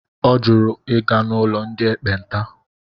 Ọ jụrụ ịga n'ụlọ ndị ekpenta.